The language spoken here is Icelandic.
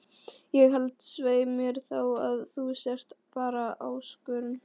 Ég held svei mér þá að þú sért bara ÁSKORUN